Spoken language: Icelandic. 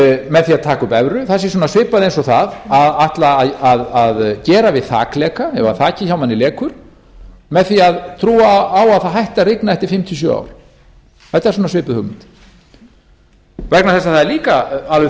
með því að taka upp evru sé svona svipað eins og það að ætla að gera við þakleka ef þakið hjá manni lekur með því að trúa á að það hætti að rigna eftir fimm til sjö ár þetta er svona svipuð hugmynd vegna þess að það er líka alveg